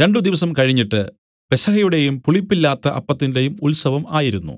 രണ്ടു ദിവസം കഴിഞ്ഞിട്ട് പെസഹയുടെയും പുളിപ്പില്ലാത്ത അപ്പത്തിന്റെയും ഉത്സവം ആയിരുന്നു